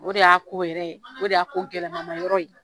O de y'a ko yɛrɛ ye o de y'a ko gɛlɛnmanyɔrɔ ye